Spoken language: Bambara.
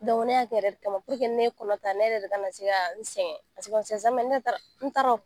ne y'a kɛ o yɛrɛ de kama ni ne ye kɔnɔta ne yɛrɛ de kana se sɛgɛn n t'a dɔn